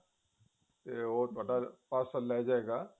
ਤੇ ਉਹ ਤੁਹਾਡਾ parcel ਲੈ ਜਾਵੇਗਾ